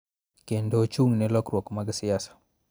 Kendo ochung� ne lokruok mag siasa.